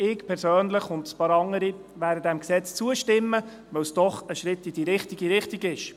Ich persönlich und ein paar andere werden diesem Gesetz zustimmen, weil es doch ein Schritt in die richtige Richtung ist.